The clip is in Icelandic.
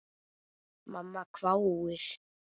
Mamma hváir.